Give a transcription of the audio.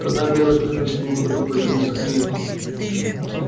тогда белый клык на всем ходу повернулся к ней